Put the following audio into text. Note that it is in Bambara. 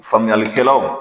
Faamuyalikɛlaw